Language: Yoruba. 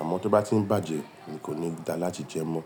Àmọ́ tó bá tí ń bàjẹ́ ni kò ní da láti jẹ mọ́.